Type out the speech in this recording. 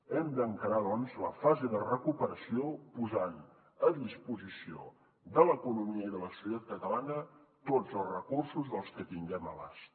hem d’encarar doncs la fase de recuperació posant a disposició de l’economia i de la societat catalana tots els recursos que tinguem a l’abast